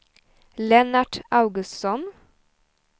Lennart Augustsson